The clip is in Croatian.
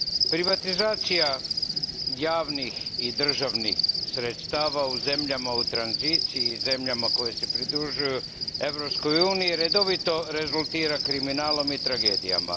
Privatizacija javnih i državnih sredstava u zemljama u tranziciji i zemljama koje se pridružuju Europskoj uniji redovito rezultira kriminalom i tragedijama.